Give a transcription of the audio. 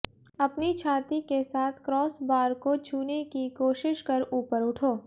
अपनी छाती के साथ क्रॉसबार को छूने की कोशिश कर ऊपर उठो